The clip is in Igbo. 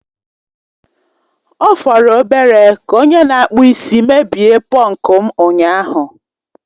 Ọ fọrọ obere ka onye na-akpụ isi mebie pọnku m ụnyaahụ